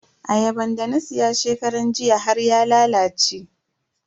Ayaban da na siya shekaran jiya har ya lalace.